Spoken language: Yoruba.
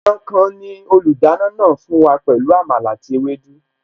Ẹran kan ni olùdáná náà fún wa pẹ̀lú Àmàlà àti ewédú